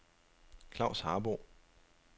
Klavs Harboe